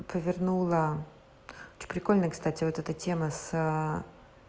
повернула что прикольно кстати вот эта тема с